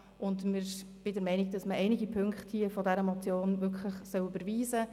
Ich bin der Meinung, man solle einige Punkte dieser Motion wirklich überweisen.